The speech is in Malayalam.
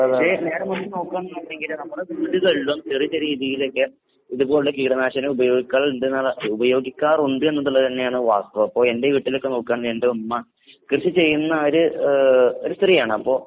പക്ഷെ നേരേമറിച്ച് നോക്കുകാണെന്നുണ്ടെങ്കില് നമ്മടെ വീടുകളിലും ചെറിയ ചെറിയ രീതീലൊക്കെ ഇതുപോലുള്ള കീടനാശിനികൾ ഉപയോഗിക്കലുണ്ട്ന്നുള്ള ഉപയോഗിക്കാറുണ്ട് എന്നുള്ളത് തന്നെയാണ് വാസ്തവം. അപ്പൊ എന്റെ വീട്ടിലൊക്കെ നോക്കുകാണെങ്കി എന്റെ ഉമ്മ കൃഷി ചെയ്യുന്ന ഒര് ഏഹ് ഒരു സ്ത്രീയാണപ്പോ